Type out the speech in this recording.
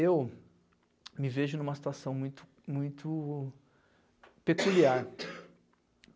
Eu me vejo numa situação muito, muito muito peculiar.